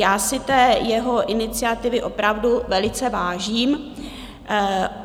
Já si té jeho iniciativy opravdu velice vážím.